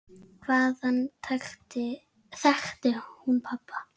Hvaðan þekkti hún pabba?